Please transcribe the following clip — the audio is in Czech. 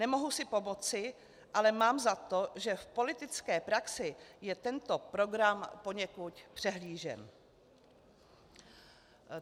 Nemohu si pomoci, ale mám za to, že v politické praxi je tento program poněkud přehlížen.